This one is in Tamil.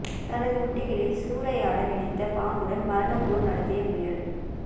தனது குட்டிகளை சூறையாட நினைத்த பாம்புடன் மரண போர் நடத்திய முயல்